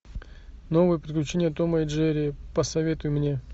новые приключения тома и джерри посоветуй мне